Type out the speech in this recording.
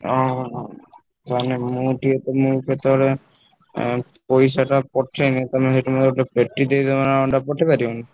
ଅହ ହ ତାହେଲେ ମୁଁ ଟିକେ ତମୁକୁ କେତବେଳେ ଏଁ ପଇସାଟା ପଠେଇଲେ ତମେ ସେଠି ମୋର ଗୋଟେ ପେଟି ଦେଇପାରିବ ନା ଅଣ୍ଡା ପଠେଇ ପାରିବନା?